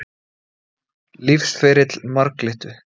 Lífsferill marglyttu.